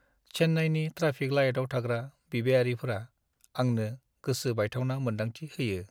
चेन्नाइनि ट्राफिक लाइटआव थाग्रा बिबायारिफोरा आंनो गोसो बायथावना मोन्दांथि होयो।